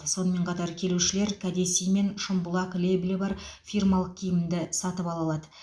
сонымен қатар келушілер кәдесый мен шымбұлақ лейблі бар фирмалық киімін ді сатып ала алады